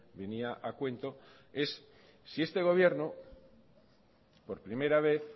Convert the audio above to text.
venía a cuento en si este gobierno por primera vez